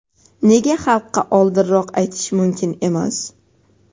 "Nega xalqqa oldinroq aytish mumkin emas?"